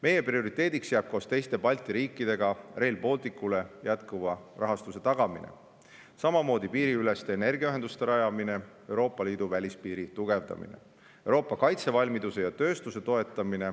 Meie prioriteediks jääb koos teiste Balti riikidega Rail Balticule jätkuva rahastuse tagamine, samamoodi piiriüleste energiaühenduste rajamine ja Euroopa Liidu välispiiri tugevdamine ning Euroopa kaitsevalmiduse ja -tööstuse toetamine.